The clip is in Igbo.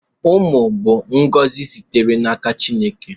Umụ bụ ngozi sitere n'aka Chineke.